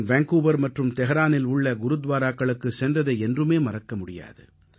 நான் வேன்கூவர் மற்றும் தெஹ்ரானில் உள்ள குருத்வாராக்களுக்குச் சென்றதை என்றுமே மறக்க முடியாது